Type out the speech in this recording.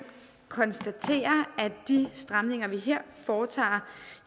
konstatere at de stramninger vi her foretager